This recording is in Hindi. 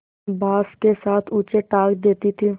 बाँस के साथ ऊँचे टाँग देती थी